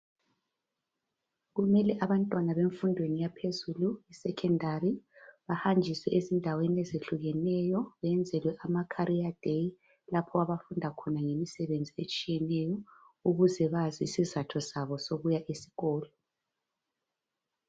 Kumele abantwana bemfundweni yaphezulu secondary bahanjiswe ezindaweni ezehlukeneyo benzelwe ama career day lapho abafunda khona ngemisebenzi etshiyeneyo ukuze bazi isizatho sabo sokuya esikolo.